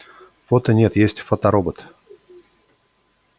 фото нет есть фоторобот